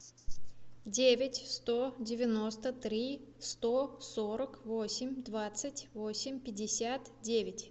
девять сто девяносто три сто сорок восемь двадцать восемь пятьдесят девять